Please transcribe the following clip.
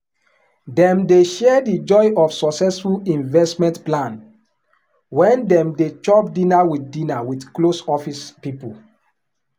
dem dey share the joy of successful investment plan when dem dey chop dinner with dinner with close office people.